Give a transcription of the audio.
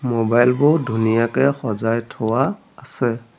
Mobile বোৰ ধুনীয়াকে সজাই থোৱা আছে।